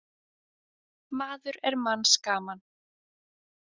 Maður er manns gaman.